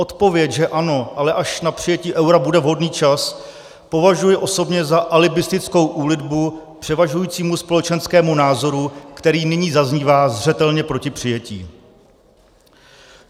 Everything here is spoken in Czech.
Odpověď, že ano, ale až na přijetí eura bude vhodný čas, považuji osobně za alibistickou úlitbu převažujícímu společenskému názoru, který nyní zaznívá zřetelně proti přijetí.